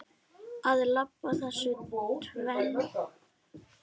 Að blanda þessu tvennu saman.